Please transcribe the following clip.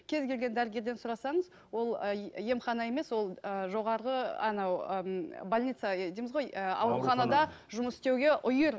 кез келген дәрігерден сұрасаңыз ол емхана емес ол ы жоғарғы анау ы больницада дейміз ғой ы ауруханада жұмыс істеуге үйір